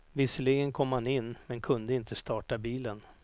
Visserligen kom man in, men kunde inte starta bilen.